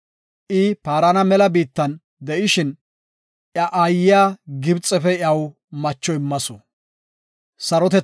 I Paarana mela biittan de7ishin, iya aayiya Gibxefe iyaw macho immasu.